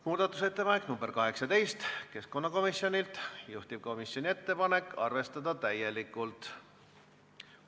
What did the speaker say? Muudatusettepanek nr 18 on keskkonnakomisjonilt, juhtivkomisjoni ettepanek on arvestada täielikult.